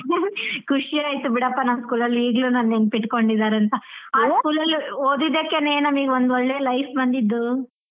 ಖುಷಿ ಆಯ್ತ್ ಬಿಡಪ್ಪ ನಮ್ school ಅಲ್ಲಿ ಈಗ್ಲೂ ನನ್ ನೆನಪು ಇಟ್ಕೊಂಡಿದ್ದಾರೆ ಅಂತ ಆ school ಅಲ್ಲಿ ಓದಿದಕ್ಕೇನೆ ನಮಿಗ್ ಒಂದ್ ಒಳ್ಳೆ life ಬಂದಿದ್ದು.